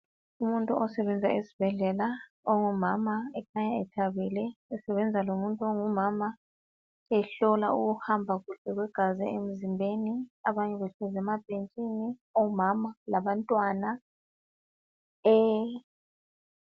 Umuntu osebenza esibhedlela ongumama ekhanya ethabile esebenza lomuntu ongumama ehlola ukuhamba kahle kwegazi emzimbeni abanye behlezi emabhentshini ongumama labantwana